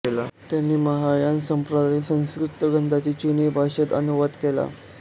त्यांनी महायान संप्रादायातील संस्कृत ग्रथांचा चीनी भाषेत अनुवाद केला